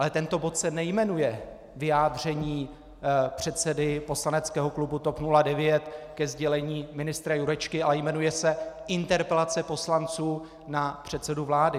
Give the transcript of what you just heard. Ale tento bod se nejmenuje vyjádření předsedy poslaneckého klubu TOP 09 ke sdělení ministra Jurečky, ale jmenuje se interpelace poslanců na předsedu vlády.